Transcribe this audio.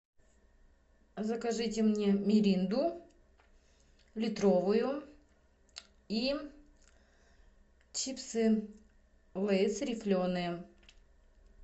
закажите мне миринду литровую и чипсы лейс рифленые